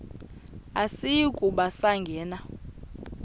asiyi kuba sangena